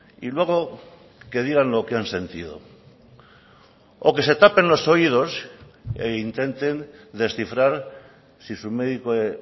y luego que digan lo que han sentido o que se tapen los oídos e intenten descifrar si su médico de